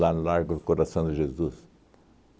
no largo Coração de Jesus?